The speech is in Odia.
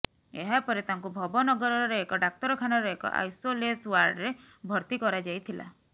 ଏହା ପରେ ତାଙ୍କୁ ଭବନଗରର ଏକ ଡାକ୍ତରଖାନାର ଏକ ଆଇସୋଲେସ ଓ୍ବାର୍ଡରେ ଭର୍ତ୍ତି କରାଯାଇଥିଲା